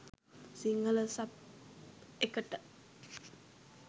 Sinhala sub එකට.